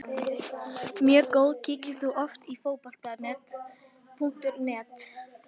Mjög góð Kíkir þú oft á Fótbolti.net?